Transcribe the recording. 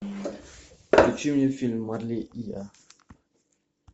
включи мне фильм марли и я